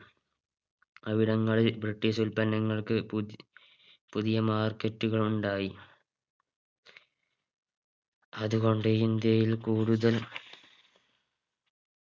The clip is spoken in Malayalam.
അവിടങ്ങളിൽ British ഉത്പന്നങ്ങൾക്ക് പുതി പുതിയ Market കൾ ഉണ്ടായി അതു കൊണ്ട് ഇന്ത്യയിൽ കൂടുതൽ